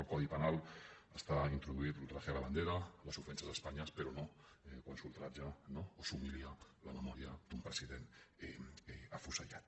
al codi penal està introduït l’ultraje a la bandera les ofenses a espanya però no quan s’ultratja no o s’humilia la memòria d’un president afusellat